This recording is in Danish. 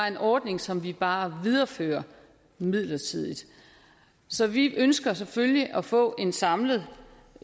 en ordning som vi bare viderefører midlertidigt så vi ønsker selvfølgelig at få en samlet